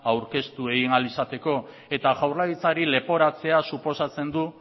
aurkeztu ahal izateko eta jaurlaritzari leporatzea suposatzen du